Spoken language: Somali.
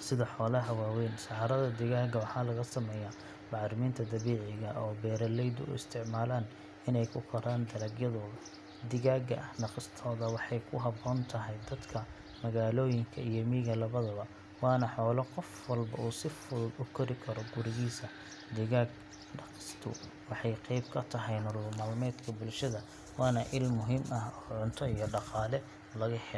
sida xoolaha waaweyn. Saxarada digaagga waxaa laga sameeyaa bacriminta dabiiciga ah oo beeraleydu u isticmaalaan inay ku koraan dalagyadooda. Digaagga dhaqistooda waxay ku habboon tahay dadka magaalooyinka iyo miyiga labadaba, waana xoolo qof walba uu si fudud u kori karo gurigiisa. Digaag dhaqistu waxay qayb ka tahay nolol maalmeedka bulshada, waana il muhiim ah oo cunto iyo dhaqaale lagu helo.